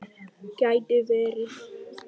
Gæti verið.